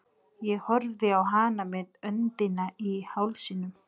Ég horfði á hana með öndina í hálsinum.